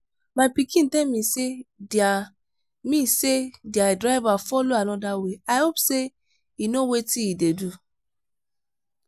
my pikin tell me say their me say their driver follow another way i hope say he no wetin he dey do.